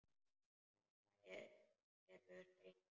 Þetta eru hrein tár.